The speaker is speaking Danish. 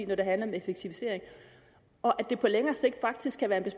når det handler om effektivisering og at det på længere sigt faktisk kan være